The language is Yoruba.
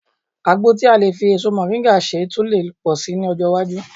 Àgbo tí a lè fi èso mọ̀ríńgà ṣe tun lè pọ̀ sí i ní ọjọ́ iwájú